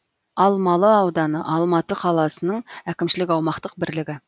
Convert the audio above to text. алмалы ауданы алматы қаласының әкімшілік аумақтық бірлігі